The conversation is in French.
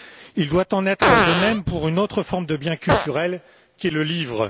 Il doit en être de même pour une autre forme de biens culturels qu'est le livre.